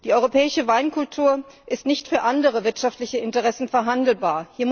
Die europäische Weinkultur ist nicht für andere wirtschaftliche Interessen verhandelbar.